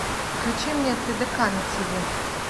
включи мне тдк на тв